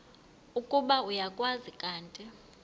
ukuba uyakwazi kanti